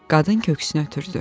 Qadın köksünə ötürdü.